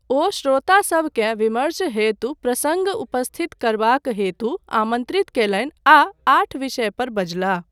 ओ श्रोतासभकेँ विमर्श हेतु प्रसङ्ग उपस्थित करबाक हेतु आमन्त्रित कयलनि आ आठ विषय पर बजलाह।